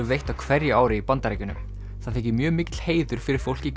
veitt á hverju ári í Bandaríkjunum það þykir mjög mikill heiður fyrir fólk í